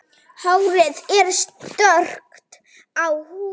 Hárið er stökkt og húðin.